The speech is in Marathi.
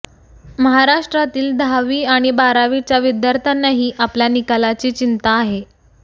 महाराष्ट्रातील दहावी आणि बारावीच्या विद्यार्थ्यांनाही आपल्या निकालाची चिंता आहे